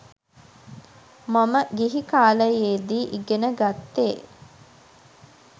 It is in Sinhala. මම ගිහි කාලයේදී ඉගෙන ගත්තෙ